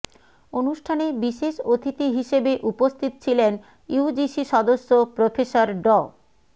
অনুষ্ঠানে বিশেষ অতিথি হিসেবে উপস্থিত ছিলেন ইউজিসি সদস্য প্রফেসর ড